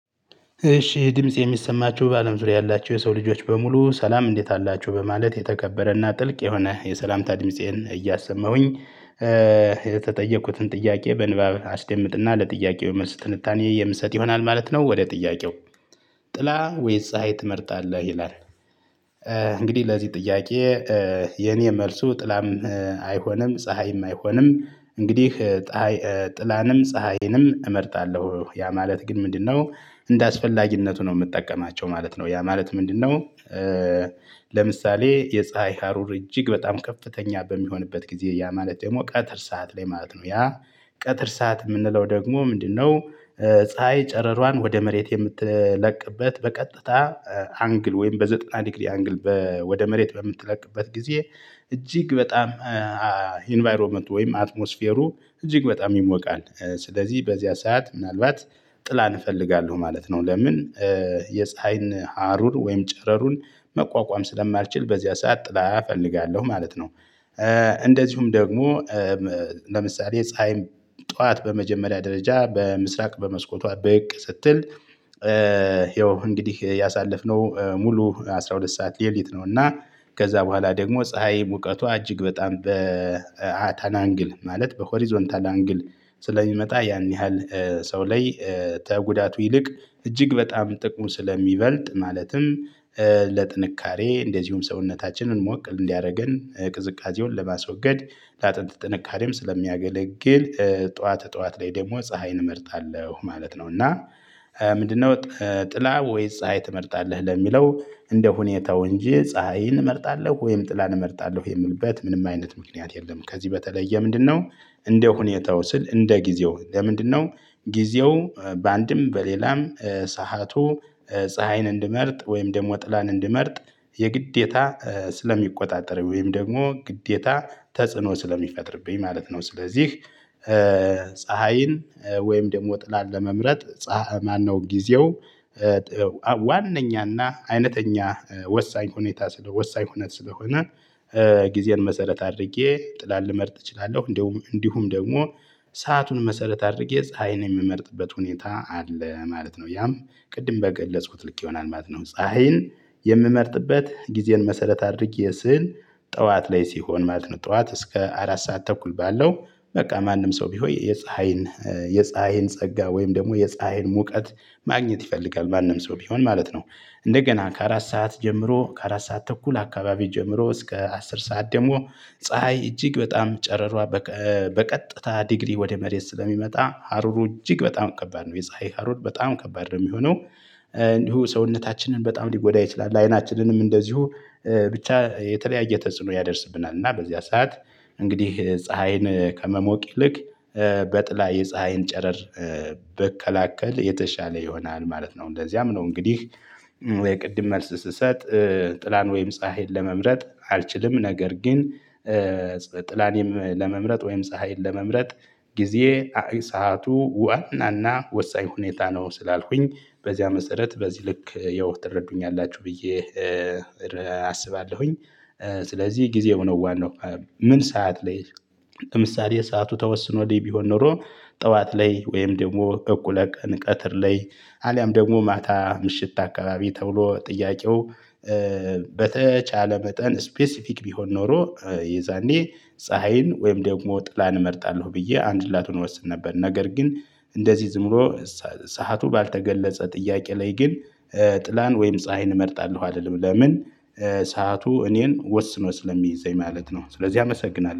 እሺ ድምፄ የሚሰማችሁ በአለም ዙሪያ ያላችሁ የሰው ልጆች በሙሉ ሰላም እንዴት አላችሁ በማለት የተከበረና ጥልቅ የሆነ የሰላምታ ድምፄን እያሰማሁኝ። የተጠየኩትን ጥያቄ በንባብ አስደምጥና ለጥያቄው መልስ ትንታኔ የምሰጥ ይሆናል ማለት ነው። ወደ ጥያቄው ጥላ ወይስ ፀሀይ ትመርጣለህ? ይላል። እንግዲህ ለዚህ ጥያቄ። የኔ መልሱ ጥላም አይሆንም ፀሀይም አይሆንም። እንግዲህ ጥላንም ፀሀይንም እመርጣለሁ ያ ማለት ግን ምንድነው እንደ አስፈላጊነቱ ነው ምጠቀማቸው ማለት ነው። ያ ማለት ምንድነው? ለምሳሌ የፀሀይ ሀሩር እጅግ በጣም ከፍተኛ በሚሆንበት ጊዜ ያ ማለት ደግሞ ቀትር ሰዓት ላይ ማለት ነው። ያ ቀትር ሰዓት ምንለው ደግሞ ምንድነው? ፀሀይ ጨረሯን ወደ መሬት የምትለቅበት በቀጥታ አንግል ወይም በዘጠና ዲግሪ አንግል ወደ መሬት በምትለቅበት ጊዜ። እጅግ በጣም ኢንቫይሮመንቱ ወይም አትሞስፌሩ እጅግ በጣም ይሞቃል። ስለዚህ በዚያ ሰዓት ምናልባት ጥላን እፈልጋለሁ ማለት ነው። ለምን? የፀሀይን ሀሩር ወይም ጨረሩን መቋቋም ስለማልችል በዚያ ሰዓት ጥላ እፈልጋለሁ ማለት ነው። እንደዚሁም ደግሞ ለምሳሌ ፀሀይም ጠዋት በመጀመሪያ ደረጃ በምስራቅ በመስኮቷ ብቅ ስትል። ይኸው እንግዲህ ያሳለፍነው ሙሉ አስራ ሁለት ሰዓት ሌሊት ነው። እና ከዛ በኋላ ደግሞ ፀሀይ ሙቀቱ አጅግ በጣም በታናንግል ማለት በሆሪዞንታል አንግል ስለሚመጣ ያን ያህል ሰው ላይ ተጉዳቱ ይልቅ እጅግ በጣም ጥቁም ስለሚበልጥ። ማለትም ለጥንካሬ እንደዚሁም ሰውነታችንን ሞቅ እንዲያደርገን ቅዝቃዜውን ለማስወገድ ለአጥንት ጥንካሬም ስለሚያገለግል። ጠዋት ጠዋት ላይ ደግሞ ፀሀይን እመርጣለሁ ማለት ነው። እና ምንድነው ጥላ ወይስ ፀሀይ ትመርጣለህ? ለሚለው እንደ ሁኔታው እንጂ ፀሀይን እመርጣለሁ ወይም ጥላን እመርጣለሁ የምልበት ምንም አይነት ምክንያት የለም። ከዚህ በተለየ ምንድነው? እንደ ሁኔታው ስል እንደ ጊዜው ለምንድነው? ጊዜው በአንድም በሌላም ሰዓቱ ፀሀይን እንድመርጥ ወይም ደግሞ ጥላን እንድመርጥ የግዴታ ስለሚቆጣጠር ወይም ደግሞ ግዴታ ተጽዕኖ ስለሚፈጥርብኝ ማለት ነው። ስለዚህ ፀሀይን ወይም ደግሞ ጥላን ለመምረጥ ፀሀይ ማነው ጊዜው ዋነኛና አይነተኛ ወሳኝ ሁኔታ ስለሆነ ወሳኝ ሁነት ስለሆነ። ጊዜን መሰረት አድርጌ ጥላን ልመርጥ እችላለሁ። እንዲሁም እንዲሁም ደግሞ ሰአቱን መሰረት አድርጌ ፀሀይን የምመርጥበት ሁኔታ አለ ማለት ነው። ያም ቅድም በገለጽኩት ልክ ይሆናል ማለት ነው። ፀሀይን የምመርጥበት ጊዜን መሰረት አድርጌ ስዕል ጠዋት ላይ ሲሆን ማለት ነው። ጠዋት እስከ አራት ሰዓት ተኩል ባለው በቃ ማንም ሰው ቢሆይ የፀሀይን የፀሀይን ጸጋ ወይም ደግሞ የፀሀይን ሙቀት ማግኘት ይፈልጋል ማንም ሰው ቢሆን ማለት ነው። እንደገና ከአራት ሰዓት ጀምሮ ከአራት ሰዓት ተኩል አካባቢ ጀምሮ እስከ አስር ሰዓት ደግሞ ፀሀይ እጅግ በጣም ጨረሯ በቀጥታ ዲግሪ ወደ መሬት ስለሚመጣ ሀሩሩ እጅግ በጣም ከባድ ነው የፀሀይ ሀሩር በጣም ከባድ ነው ሚሆነው። እንዲሁ ሰውነታችንን በጣም ሊጎዳ ይችላል። አይናችንንም እንደዚሁ ብቻ የተለያየ ተጽዕኖ ያደርስብናል። እና በዚያ ሰዓት እንግዲህ ፀሀይን ከመሞቅ ይልቅ በጥላ የፀሀይን ጨረር ብከላከል የተሻለ ይሆናል ማለት ነው። እንደዚያም ነው። እንግዲህ የቅድም መልስ ስሰጥ ጥላን ወይም ፀሀይን ለመምረጥ አልችልም ነገር ግን። ጥላን ለመምረጥ ወይም ፀሀይን ለመምረጥ ጊዜ አይ ሰዓቱ ውአናና ወሳኝ ሁኔታ ነው። ስላልኩኝ በዚያ መሰረት በዚህ ልክ የውህ ትረዱኛላችሁ ብዬ አስባለሁኝ። ስለዚህ ጊዜው ነው ዋናው። ምን ሰዓት ላይ? ለምሳሌ ሰዓቱ ተወስኖልኝ ቢሆን ኖሮ ጠዋት ላይ ወይም ደግሞ እቁለቀን ቀትር ላይ አሊያም ደግሞ ማታ ምሽት አካባቢ ተብሎ ጥያቄው። በተቻለ መጠን ስፔሲፊክ ቢሆን ኖሮ የዛኔ ፀሀይን ወይም ደግሞ ጥላን እመርጣለሁ ብዬ አንድላቱን እወስን ነበር። ነገር ግን እንደዚህ ዝምብሎ ሰዓቱ ባልተገለጸ ጥያቄ ላይ ግን ጥላን ወይም ፀሀይን እመርጣለሁ አልልም። ለምን? ሰዓቱ እኔን ወስኖ ስለሚይዘኝ ማለት ነው። ስለዚህ አመሰግናለሁ